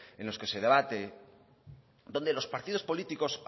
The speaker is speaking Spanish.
en los que se debate donde los partidos políticos